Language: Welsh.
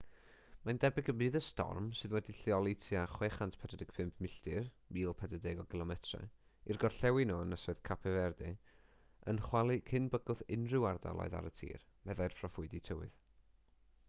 mae'n debyg y bydd y storm sydd wedi'i lleoli tua 645 milltir 1040 km i'r gorllewin o ynysoedd cape verde yn chwalu cyn bygwth unrhyw ardaloedd ar y tir meddai'r proffwydi tywydd